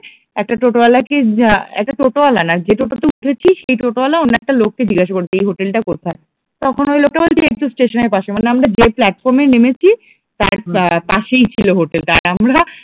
একটা টোটো ওয়ালাকে উম একটা টোটো ওয়ালা না যে টোটোতে উঠেছি সেই টোটো ওয়ালা একটা লোককে জিজ্ঞেস করেছে যে হোটেল টা কোথায়? তখন ঐ লোকটা বলছে কি এইতো স্টেশনের পাশে, মানে আমরা যে প্লাটফর্মে নেমেছি তার পাশেই ছিল হোটেল টা আমরা